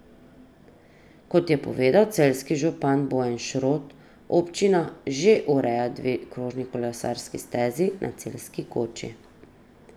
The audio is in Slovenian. Kot je povedal celjski župan Bojan Šrot, občina že ureja dve krožni kolesarski stezi na Celjski koči.